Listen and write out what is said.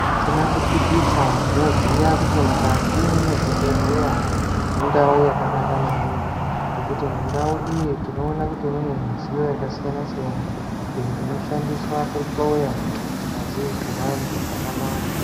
Zvisina kupikisa ndinoziya kuti mukati mezvibhodhlera mundau yakanaka maningi ngekuti mundau iyi tinoona kuti mune mudziyo yakasiyana siyana inoshandiswa kuhloya ngazii dzevantu zvakanaka.